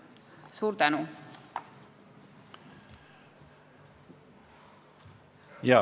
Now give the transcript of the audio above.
Suur tänu!